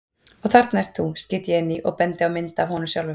Og þarna ert þú, skýt ég inn í og bendi á mynd af honum sjálfum.